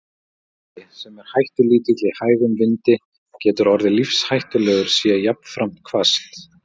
Kuldi, sem er hættulítill í hægum vindi, getur orðið lífshættulegur sé jafnframt hvasst.